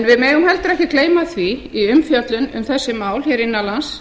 en við megum heldur ekki gleyma því í umfjöllun um þessi mál innan lands